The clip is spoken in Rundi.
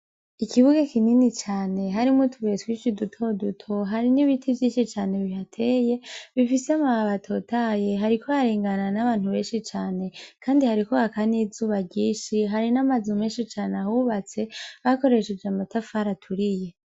Ikibuga kinini cane harimwo utubuye twinshi duto duto hari n'ibiti vyinshi cane bihateye bifise amababi hatotatahaye, hariko harengana n'abantu benshi cane, kandi hariko haka n'izuba ryinshi, hari n'amazi menshi cane, ahubatse bakoresheje amatafari aturiye.